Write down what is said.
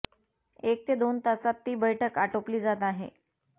एक ते दोन तासांत ती बैठक आटोपली जात आहे